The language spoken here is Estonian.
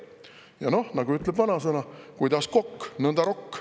Ja noh, nagu ütleb vanasõna: kuidas kokk, nõnda rokk.